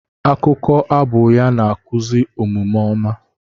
Akụkọ abụ ya na-akụzi omume ọma.